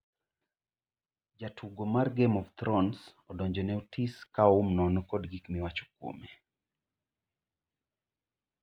jatugo mar 'game of thrones' odonjo ne Otis ka oum nono kod gik ma iwacho kuome